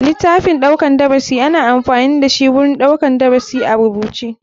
Litaffin ɗaukar darasi ana amfani dashi wurin ɗaukar darasi a rubuce.